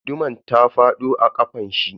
Guduman ta fado a kafanshi.